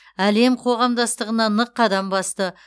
әлем қоғамдастығына нық қадам басты